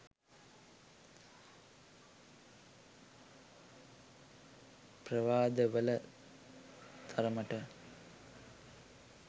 ප්‍රවාද වල තරමට